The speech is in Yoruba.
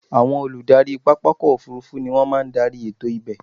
Àwọn Olùdarí pápákọ̀ òfurufú ni wọ́n máa ń darí ètò ibẹ̀.